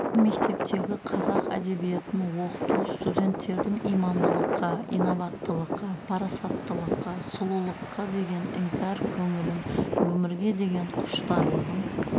мектептегі қазақ әдебиетін оқыту студенттердің имандылыққа инабаттылыққа парасаттылыққа сұлулыққа деген іңкәр көңілін өмірге деген құштарлығын